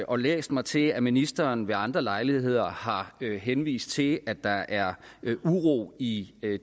og læst mig til at ministeren ved andre lejligheder har henvist til at der er uro i